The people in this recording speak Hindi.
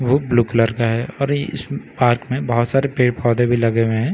ब्लू कलर का है और इस पार्क में बहुत सारे पेड़ पौधे भी लगे हुए हैं और ये--